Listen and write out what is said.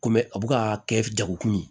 Komi a bɛ ka kɛ jagokun ye